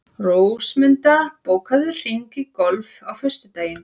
Rósmunda, bókaðu hring í golf á föstudaginn.